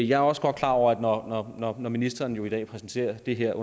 jeg er også godt klar over at når når ministeren i dag præsenterer det her